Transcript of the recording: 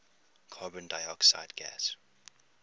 carbon dioxide gas